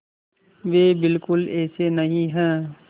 वे बिल्कुल ऐसे नहीं हैं